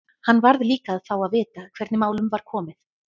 Hann varð líka að fá að vita hvernig málum var komið.